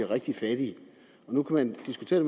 rigtig fattige nu kan man diskutere